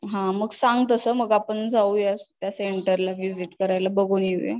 हा मग सांग तसं आपण जाऊया त्या सेंटरला व्हिजिट करायला, बघून येऊया